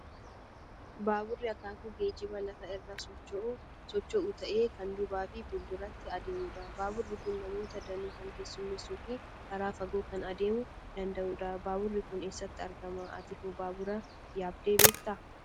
Baaburri akaakuu geejjibaa lafa irra socho'u ta'ee, kan duubaa fi fuulduratti adeemudha. Baaburri kun namoota danuu kan keessummeessuu fi karaa fagoo kan adeemuu danda'udha. Baaburri kun eessatti argama? Ati hoo baabura yaabdee beektaa?